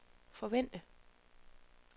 forvente